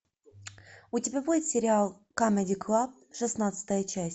у тебя будет сериал камеди клаб шестнадцатая часть